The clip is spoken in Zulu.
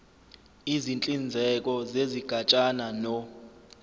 izinhlinzeko zezigatshana no